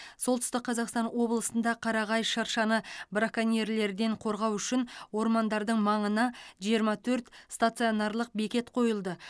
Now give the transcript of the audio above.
солтүстік қазақстан облысында қарағай шыршаны браконьерлерден қорғау үшін ормандардың маңына жиырма төрт стационарлық бекет қойылды